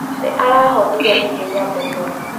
Nĩ arahonire ihenya mũno.